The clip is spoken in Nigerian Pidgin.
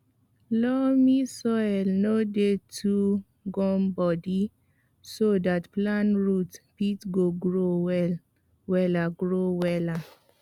loamy soil no dey too gumbodi so dat plant root fit grow wella grow wella